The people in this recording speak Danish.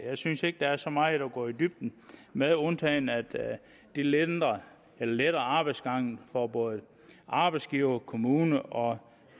jeg synes ikke der er så meget at gå i dybden med undtagen at det letter letter arbejdsgangen for både arbejdsgiver kommune og